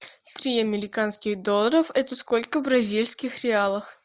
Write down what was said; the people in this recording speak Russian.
три американских долларов это сколько в бразильских реалах